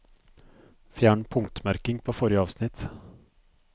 Fjern punktmerking på forrige avsnitt